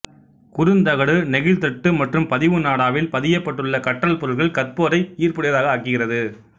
குறுந்தகடு நெகிழ்த்தட்டு மற்றும் பதிவு நாடாவில் பதியப்பட்டுள்ள கற்றல் பொருட்கள் கற்போரை ஈர்ப்புடையதாக ஆக்குகிறது